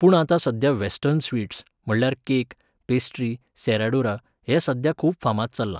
पूण आतां सध्या वॅस्टर्न स्वीट्स, म्हळ्यार केक, पेस्ट्री, सेराडुरा, हें सध्या खूब फामाद चल्लां.